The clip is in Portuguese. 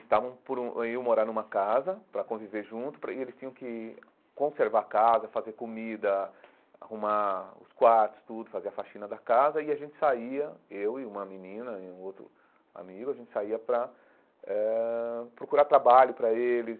Estavam por um iam morar numa casa, para conviver junto, para e eles tinham que conservar a casa, fazer comida, arrumar os quartos, tudo, fazer a faxina da casa, e a gente saía, eu e uma menina e um outro amigo, a gente saía para eh procurar trabalho para eles,